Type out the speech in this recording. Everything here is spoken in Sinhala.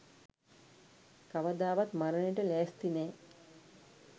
කවදාවත් මරණයට ලෑස්ති නෑ.